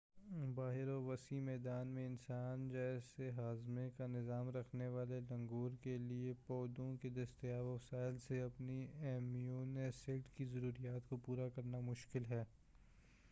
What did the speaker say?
باہر وسیع میدان میں انسان جیسے ہاضمہ کا نظام رکھنے والے لنگور کے لئے پودوں کے دستیاب وسائل سے اپنی امینو ایسڈ کی ضروریات کو پورا کرنا مشکل ہے